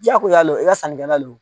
Diya ko y'a lo i ka sanni kɛla lo.